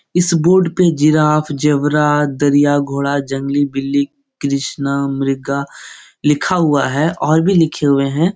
इस बोर्ड पे giraffe zebra दरिया घोड़ा जंगली बिल्ली कृष्णा मृगा लिखा हुआ है और भी लिखे हुए हैं।